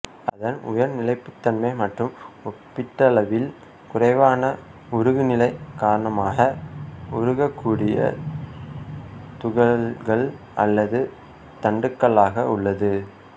அதன் உயர் நிலைப்புத்தன்மை மற்றும் ஒப்பீட்டளவில் குறைவான உருகுநிலை காரணமாக உருக்கக்கூடிய துகள்கள் அல்லது தண்டுகளாக உள்ளது